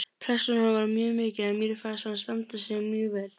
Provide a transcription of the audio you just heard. Pressan á honum var mjög mikil en mér fannst hann standa sig mjög vel